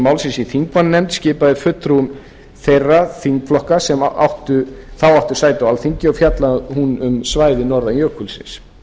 málsins í þingmannanefnd skipaðri fulltrúum þeirra þingflokka sem þá áttu sæti á alþingi og fjallaði hún um svæðið norðan jökulsins